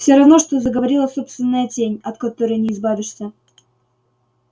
все равно что заговорила собственная тень от которой не избавишься